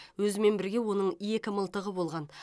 өзімен бірге оның екі мылтығы болған